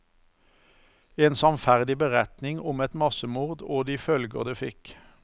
En sannferdig beretning om et massemord og de følger det fikk.